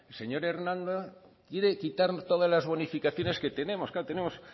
señor quiere quitar todas las bonificaciones que tenemos claro tenemos